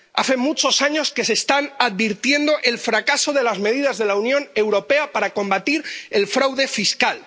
Hace muchos años que se está advirtiendo el fracaso de las medidas de la Unión Europea para combatir el fraude fiscal.